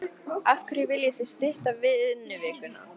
Af hverju viljið þið stytta vinnuvikuna?